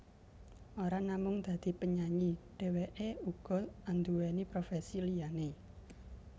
Ora namung dadi penyanyi dheweké uga anduweni profesi liyané